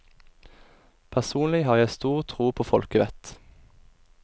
Personlig har jeg stor tro på folkevett.